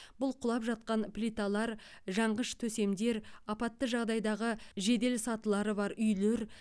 бұл құлап жатқан плиталар жанғыш төсемдер апатты жағдайдағы жеделсатылары бар үйлер